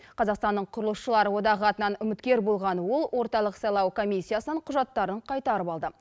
қазақстанның құрылысшылар одағы атынан үміткер болған ол орталық сайлау комиссиясынан құжаттарын қайтарып алды